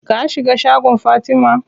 Ka shiga shagon Fatima?